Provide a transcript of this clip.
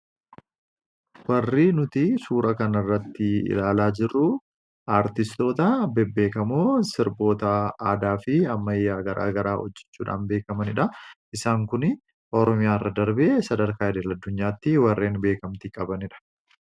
Warri nuti suuraa kana irratti ilaalaa jirru aartistoota bebbeekamoo sirboota aadaa fi ammayyaa garaa garaa hojjechuudhaan beekamanidha. Isaan kun biyya keessa darbee sadarkaa idil-addunyaatti warra beekamtii qabanidha.